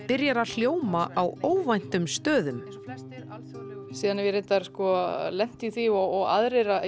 byrjar að hljóma á óvæntum stöðum ég hef lent í því og aðrir að